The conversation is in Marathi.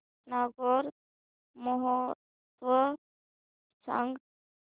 नागौर महोत्सव सांग